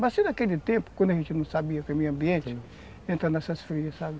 Mas se naquele tempo, quando a gente não sabia que era meio ambiente, entra nessas frias, sabe?